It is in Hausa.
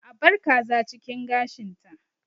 A bar kaza cikin gashinta